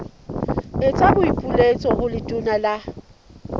etsa boipiletso ho letona la